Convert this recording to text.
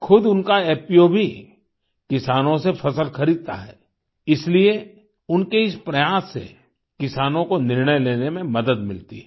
खुद उनका एफपीओ भी किसानों से फ़सल खरीदता है इसलिए उनके इस प्रयास से किसानों को निर्णय लेने में मदद मिलती है